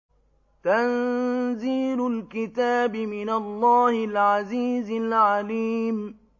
تَنزِيلُ الْكِتَابِ مِنَ اللَّهِ الْعَزِيزِ الْعَلِيمِ